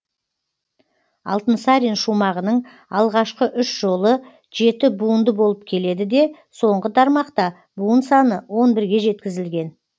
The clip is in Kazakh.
алтынсарин шумағының алғашқы үш жолы жеті буынды болып келеді де соңғы тармақта буын саны он бірге жеткізілген